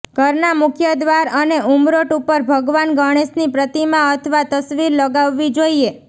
ઘરના મુખ્ય દ્વાર પર ઉમરોટ ઉપર ભગવાન ગણેશની પ્રતિમા અથવા તસવીર લગાવવી જોઇએ